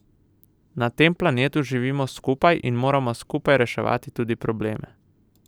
Na tem planetu živimo skupaj in moramo skupaj reševati tudi probleme.